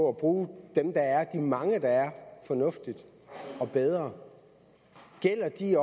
at bruge de mange der er fornuftigt og bedre gælder de